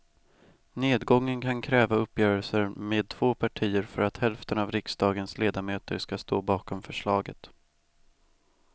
Nedgången kan kräva uppgörelser med två partier för att hälften av riksdagens ledamöter ska stå bakom förslaget.